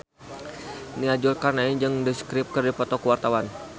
Nia Zulkarnaen jeung The Script keur dipoto ku wartawan